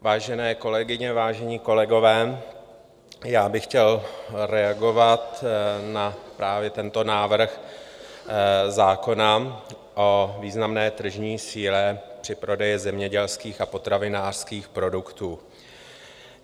Vážené kolegyně, vážení kolegové, já bych chtěl reagovat na právě tento návrh zákona o významné tržní síle při prodeji zemědělských a potravinářských produktů.